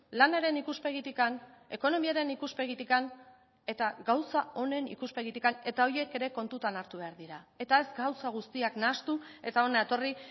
lanaren ikuspegitik ekonomiaren ikuspegitik eta gauza onen ikuspegitik eta horiek ere kontutan hartu behar dira eta ez gauza guztiak nahastu eta hona etorri